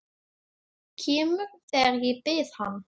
Kemur þegar ég bið hann.